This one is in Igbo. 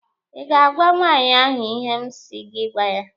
Ị ga-agwa nwaanyị ahụ ihe m si gị gwa ya!